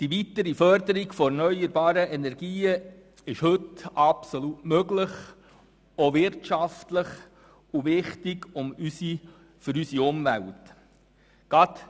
Die weitere Förderung von erneuerbaren Energien ist heute wirtschaftlich absolut möglich und für unsere Umwelt wichtig.